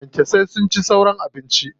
Kyankyasan sun ci sauran abincin.